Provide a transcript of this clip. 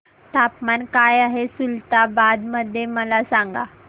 तापमान काय आहे खुलताबाद मध्ये मला सांगा